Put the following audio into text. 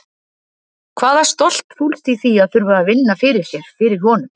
Hvaða stolt fólst í því að þurfa að vinna fyrir sér, fyrir honum?